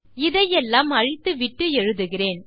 இதை எல்லாம் அழித்துவிட்டு எழுதுகிறேன்